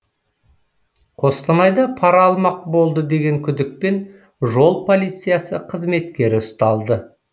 қостанайда пара алмақ болды деген күдікпен жол полициясы қызметкері ұсталды